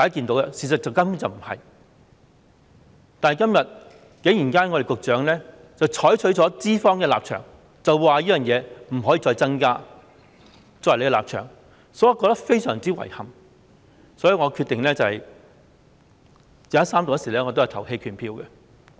但是，局長今天竟然採取資方的立場，即侍產假天數不可以再增加，作為政府的立場，所以我覺得非常遺憾，決定在三讀時投棄權票。